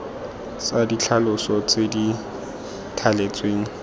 tsa ditlhaloso tse di thaletsweng